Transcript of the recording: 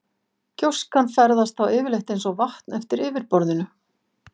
Gjóskan ferðast þá yfirleitt eins og vatn eftir yfirborðinu.